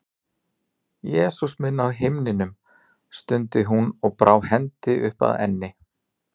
Jesús minn á himnum, stundi hún og brá hendi upp að enni.